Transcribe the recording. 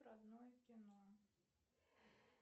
родное кино